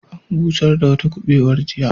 An busar da wata kubewar jiya.